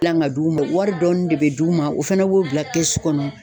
Gilan ga d'u ma wari dɔɔni de be d'u ma o fɛnɛ b'o bila kɛsu kɔnɔ